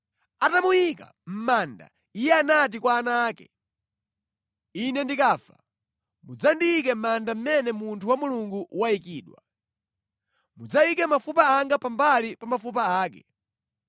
Atamuyika mʼmanda, iye anati kwa ana ake, “Ine ndikafa, mudzandiyike mʼmanda amene munthu wa Mulungu wayikidwa. Mudzayike mafupa anga pambali pa mafupa ake.